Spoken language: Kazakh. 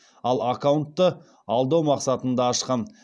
ал аккаунтты алдау мақсатында ашқан